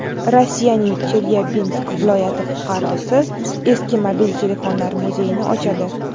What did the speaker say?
Rossiyaning Chelyabinsk viloyati fuqarosi eski mobil telefonlar muzeyini ochadi .